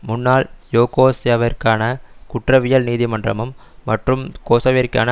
முன்னாள் யூகோஸ்லாவியாவிற்கான குற்றவியல் நீதிமன்றமும் மற்றும் கொசவோவிற்கான